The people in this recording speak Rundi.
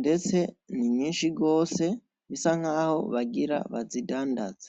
ndetse ninyinshi gose bisa nkaho bagira bazidandaze.